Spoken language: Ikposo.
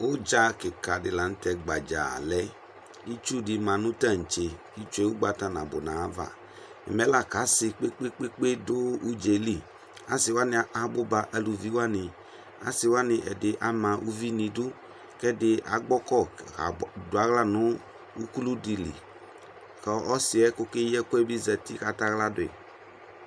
Ʋdza kɩkadɩ la nʋtɛ gbadza lɛ Itsudɩ ma nʋ taŋtse , itsue ʋgbata nadʋ n'ayava Mɛla k'asɩ kpekpekpe dʋ ʋdzaɛ li asɩwanɩ abʋ ba aluviwanɩ Asɩwanɩ ɛdɩ ama uvi n'idu k'ɛdɩ agbɔkɔ kab dʋaɣla nʋ ukuludɩ li ; ̈kɔ ɔsɩɛ k'oke yi ɛkʋɛ bɩ zati k'ataɣla dʋɩ